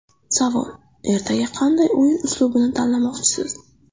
Savol: Ertaga qanday o‘yin uslubini tanlamoqchisiz?